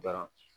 Dɔrɔn